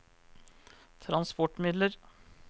transportmidler